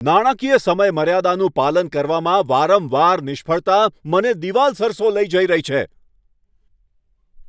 નાણાકીય સમયમર્યાદાનું પાલન કરવામાં વારંવાર નિષ્ફળતા મને દિવાલ સરસો લઈ જઈ રહી છે.